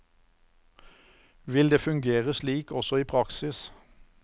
Vil det fungere slik også i praksis?